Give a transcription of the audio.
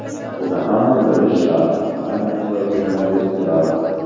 Buni hamma bilish shart, ayniqsa jurnalistlar.